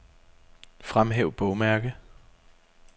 Fremhæv bogmærke.